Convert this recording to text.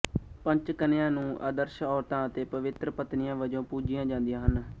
ਪੰਚਕਨਿਆ ਨੂੰ ਆਦਰਸ਼ ਔਰਤਾਂ ਅਤੇ ਪਵਿੱਤਰ ਪਤਨੀਆਂ ਵਜੋਂ ਪੂਜੀਆਂ ਜਾਂਦੀਆਂ ਹਨ